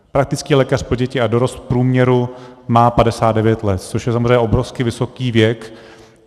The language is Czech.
Praktický lékař pro děti a dorost v průměru má 59 let, což je samozřejmě obrovsky vysoký věk.